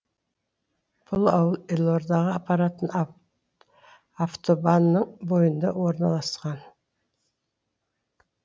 бұл ауыл елордаға апаратын автобанның бойында орналасқан